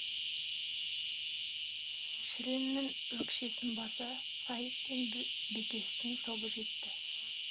шүреннің өкшесін баса сайып пен бекестің тобы жетті